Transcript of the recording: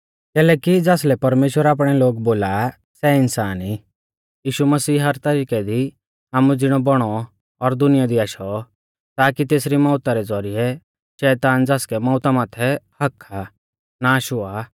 कैलैकि ज़ासलै परमेश्‍वर आपणै लोग बोला आ सै इन्सान ई यीशु मसीह हर तरिकै दी आमु ज़िणौ बौणौ और दुनिया दी आशौ ताकि तेसरी मौउता रै ज़ौरिऐ शैतान ज़ासकै मौउता माथै हक्क्क आ नाष हुआ